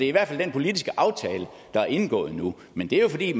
i hvert fald den politiske aftale der er indgået nu men det er jo fordi